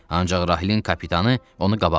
Ancaq Rahilin kapitanı onu qabaqladı.